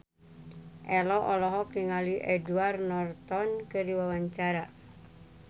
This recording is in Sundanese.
Ello olohok ningali Edward Norton keur diwawancara